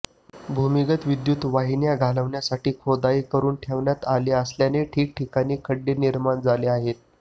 भूमिगत विद्युत वाहिन्या घालण्यासाठी खोदाई करून ठेवण्यात आली असल्याने ठिकठिकाणी खड्डे निर्माण झाले आहेत